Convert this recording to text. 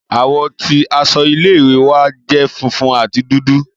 Àwọ̀ ti aṣọ ile-iwe wa jẹ funfun ati dudu.